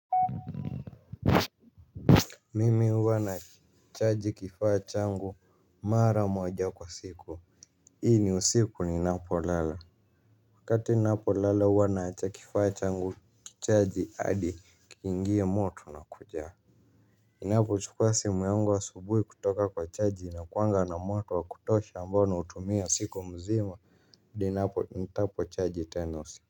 Mimi huwa nachaji kifaa changu mara moja kwa siku. Hii ni usiku ninapolala. Wakati ninapolala huwa naacha kifaa changu kichaji hadi kiingie moto na kujaa. Ninapochukua simu yangu asubuhi kutoka kwa chaji inakuwanga na moto wa kutosha ambao nautumia siku mzima ninapo nitapo chaji tena usiku.